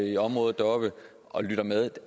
i området deroppe og lytter med